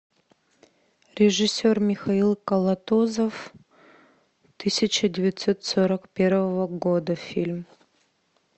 режиссер михаил калатозов тысяча девятьсот сорок первого года фильм